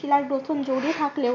শিলার গঠন জুড়ে থাকলেও